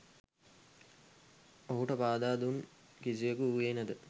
ඔහුට පාදා දුන් කිසිවෙකු වුයේ නැත.